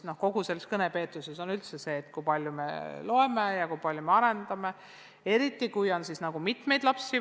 Kogu selle kõnepeetuse põhjus on üldse see, kui palju me loeme ja kui palju me lapsi arendame, eriti kui peres on mitu last.